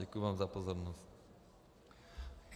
Děkuji vám za pozornost.